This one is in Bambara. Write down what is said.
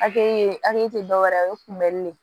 Hakili hakili ti dɔwɛrɛ ye o ye kunbɛli de